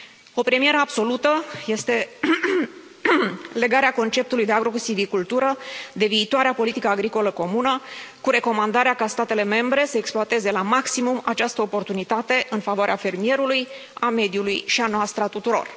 O premieră absolută este legarea conceptului de agrosivicultură de viitoarea politică agricolă comună, cu recomandarea ca statele membre să exploateze la maximum această oportunitate în favoarea fermierului, a mediului și a noastră, a tuturor.